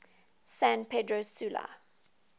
san pedro sula